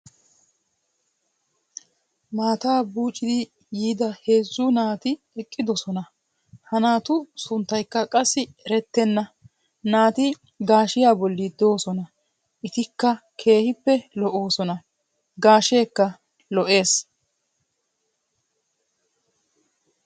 Maataa buuciiddi diya heezzu naati eqqidosona. Ha naatu sunttaykka qassi eretenna. Naati gaashiya bolli doosona. Etikka keehippe lo'oosona. Gaasheekka lo'ees.